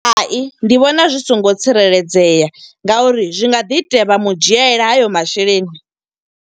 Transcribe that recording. Hai, ndi vhona zwi songo tsireledzea nga uri zwi nga ḓi itea vha mu dzhiela hayo masheleni.